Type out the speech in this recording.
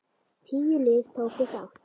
Tíu lið tóku þátt.